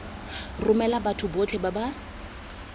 romela batho botlhe ba ba